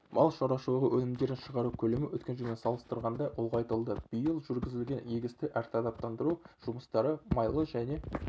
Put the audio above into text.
мал шаруашылығы өнімдерін шығару көлемі өткен жылмен салыстырғанда ұлғайтылды биыл жүргізілген егісті әртараптандыру жұмыстары майлы және